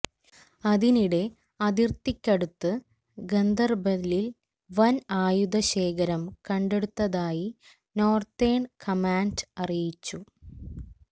അതിനിടെ അതിർത്തിക്കടുത്ത് ഗന്ദർബലിൽ വൻ ആയുധ ശേഖരം കണ്ടെടുത്തതായി നോർത്തേൺ കമാൻഡ് അറിയിച്ചു